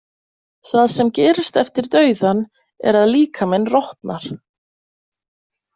Það sem gerist eftir dauðann er að líkaminn rotnar.